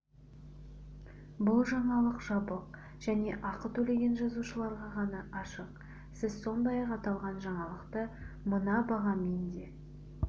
бұл жаңалық жабық және ақы төлеген жазылушыларға ғана ашық сіз сондай-ақ аталған жаңалықты мына бағамен де